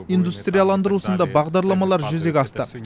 индустриаландырусында бағдарламалар жүзеге асты